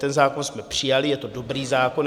Ten zákon jsme přijali, je to dobrý zákon.